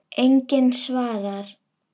Enginn svarar.